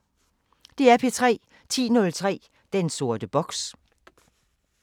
DR P3